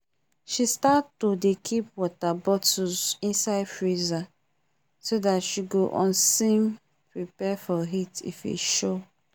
she start to dey keep water bottles insite freezer so that she go useam prepare for heat if e show um